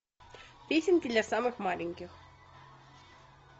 песенки для самых маленьких